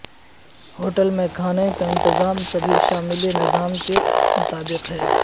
hotel میں کھانے کا انتظام سبھی شامل نظام کے مطابق ہے